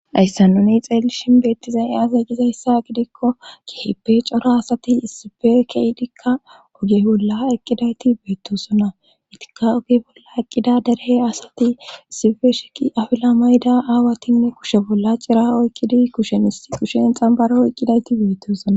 Haysa nuni xeelli shinbeettizay eaaz e gizayssa gidikko kerhippe cora asati issife keidikka oge bolla eqqidayti beettosona itika oge bolla eqqida derehe asati isife sheqi afila mayda aawatinne kushe bolla cira oykkidi kushen is qushen xambaro eqqidayti beettosona